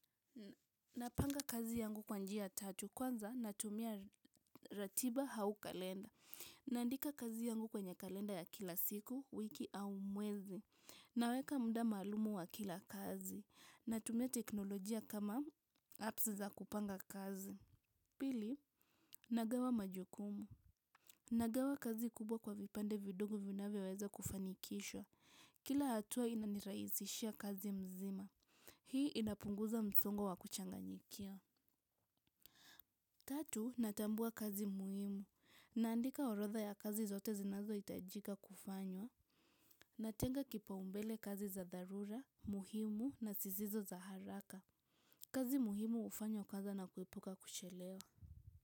Napanga kazi yangu kwa njia tatu. Kwanza natumia ratiba au kalenda naandika kazi yangu kwenye kalenda ya kila siku, wiki au mwezi. Naweka muda maalum wa kila kazi natumia teknolojia kama apps za kupanga kazi. Pili, nagawa majukumu. Nagawa kazi kubwa kwa vipande vidogo vinavyoweza kufanikishwa. Kila hatua inanirahisishia kazi mzima. Hii inapunguza msongo wa kuchanganyikia. Tatu, natambua kazi muhimu. Naandika orodha ya kazi zote zinazo itajika kufanywa. Natenga kipaumbele kazi za dharura muhimu na zisizo za haraka kazi muhimu hufanywa kwanza na kuepuka kuchelewa.